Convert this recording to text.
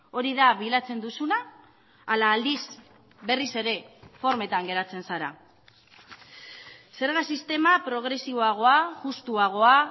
hori da bilatzen duzuna ala aldiz berriz ere formetan geratzen zara zerga sistema progresiboagoa justuagoa